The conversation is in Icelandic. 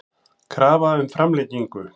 Krafa um framlengingu